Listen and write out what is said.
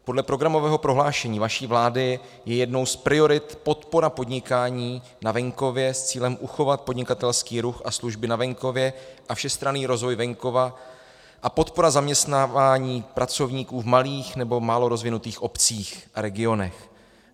Podle programového prohlášení vaší vlády je jednou z priorit podpora podnikání na venkově s cílem uchovat podnikatelský ruch a služby na venkově a všestranný rozvoj venkova a podpora zaměstnávání pracovníků v malých nebo málo rozvinutých obcích a regionech.